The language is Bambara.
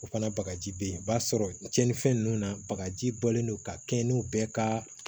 O fana bagaji be yen o b'a sɔrɔ cɛnninfɛn nunnu na bakaji bɔlen don ka kɛ ni bɛɛ ka